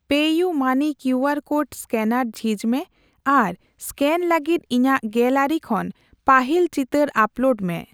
ᱯᱮᱤᱭᱩᱢᱟᱹᱱᱤ QR code scanner ᱡᱷᱤᱡ ᱢᱮ ᱟᱨ ᱮᱥᱠᱮᱱ ᱞᱟᱹᱜᱤᱫ ᱤᱧᱟᱜ ᱜᱮᱞᱟᱨᱤ ᱠᱷᱚᱱ ᱯᱟᱹᱦᱤᱞ ᱪᱤᱛᱟᱹᱨ ᱟᱯᱞᱳᱰ ᱢᱮ ᱾